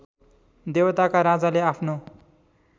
देवताका राजाले आफ्नो